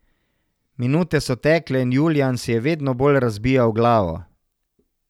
Minute so tekle in Julijan si je vedno bolj razbijal glavo.